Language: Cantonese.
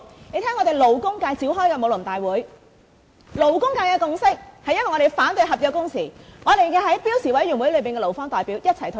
我們在勞工界召開的武林大會，勞工界的共識是反對合約工時，而我們在標準工時委員會上與勞方代表一起退場。